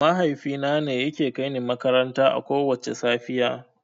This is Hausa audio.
Mahaifina ne yake kaini makaranta akowacce safiya.